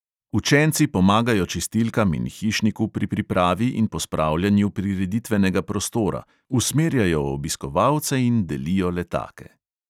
Učenci pomagajo čistilkam in hišniku pri pripravi in pospravljanju prireditvenega prostora, usmerjajo obiskovalce in delijo letake.